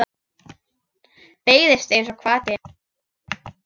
Beygist einsog hvati.